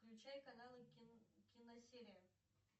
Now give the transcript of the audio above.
включай каналы киносерия